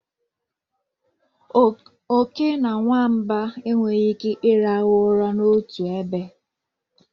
Oke na nwamba enweghị ike ịrahụ ụra n'otu ebe.